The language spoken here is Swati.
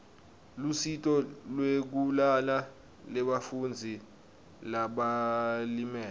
lusito lwekulala lebafundzi labalimele